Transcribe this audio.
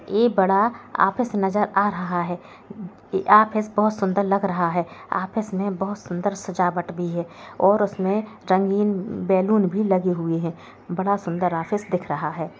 ये बड़ा ऑफिस नजर आ रहा है ऑफिस बहुत सुंदर लग रहा है ऑफिस में बहुत सुंदर सजावट भी है और उसमें रंगीन बैलून भी लगे हुए हैं बड़ा सुंदर ऑफिस दिख रहा है।